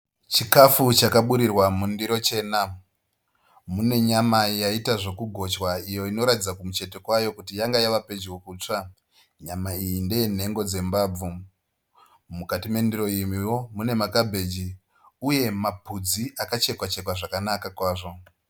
Chikafu chakaburirwa mundiro chena mune nyama yaita zvekugotywa iyo inoratidza kumucheto kwayo kuti yanga wava kutsva nyama iyi ndeyenhengo dzembabvu mukati me ndiro imwewo mune makabheji uye mapudzi akachekwa chekwa zvakanaka kwazvo